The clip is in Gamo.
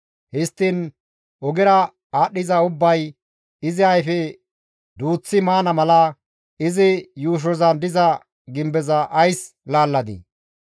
Histtiin ogera aadhdhiza ubbay izi ayfe duuththi maana mala izi yuushozan diza gimbeza ays laalladii?